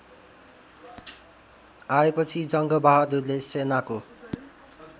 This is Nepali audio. आएपछि जङ्गबहादुरले सेनाको